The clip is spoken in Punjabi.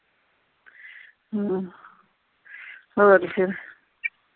ਹਮ ਹੋਰ ਫੇਰ।